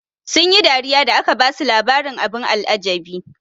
Sun yi dariya da aka basu labarin abin al'ajabi.